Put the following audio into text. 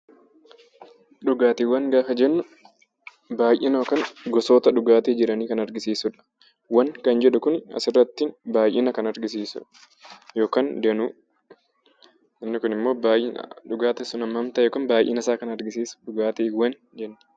Dhugaatiiwwan gaafa jennu baay'ina yookaan gosoota dhugaatii jiranii kan argisiisudha. "-wwan" kan jedhu kuni asirratti baay'ina kan argisiisudha, yookaan danuu. Inni kun immoo baay'ina, dhugaatiin sun hammam ta'e yookaan baay'ina isaa kan argisiisu dhugaatiiwwan jenna.